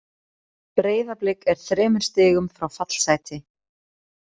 Breiðablik er þremur stigum frá fallsæti.